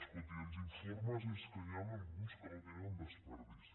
escolti els informes és que n’hi ha alguns que no tenen desperdici